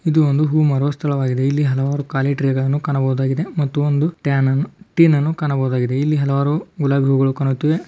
ಇದು ಒಂದು ಹೂವು ಮಾರುವ ಸ್ಥಳವಾಗಿದೆ ಇಲ್ಲಿ ಹಲವಾರು ಖಾಲಿ ಟ್ರೇ ಕಾಣಬಹುದಾಗಿದೆ ಮತ್ತು ಒಂದು ಟಾನ್ ಅನ್ನು ಟಿನ್ ಅನ್ನು ಕಾಣಬಹುದಾಗಿದೆ. ಇಲ್ಲಿ ಹಲವಾರು ಗುಲಾಬಿ ಹೂವುಗಳು ಕಾಣುತ್ತಿವೆ.